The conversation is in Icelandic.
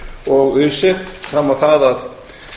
og öse fram á það að